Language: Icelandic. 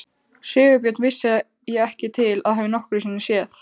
Sigurbjörn vissi ég ekki til að hafa nokkru sinni séð.